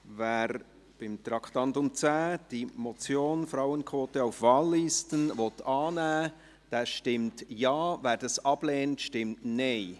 Wer unter dem Traktandum 10 die Motion «Frauen*quote auf Wahllisten» annehmen will, stimmt Ja, wer dies ablehnt, stimmt Nein.